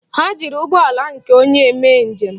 Ha jiri ụgbọala nke onye mee njem.